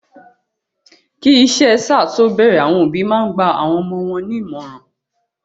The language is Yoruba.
Kí iṣẹ sáà to bẹrẹ, àwọn òbí máa n gba awọn ọmọ wọn ní ìmọràn.